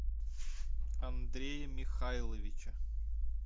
андрея михайловича